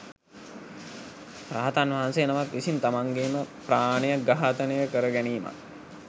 රහතන් වහන්සේ නමක් විසින් තමන්ගේම ප්‍රාණය ඝාතනය කරගැනීමත්